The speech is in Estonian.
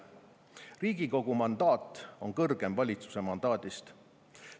Riigikogu mandaat on kõrgem valitsuse mandaadist.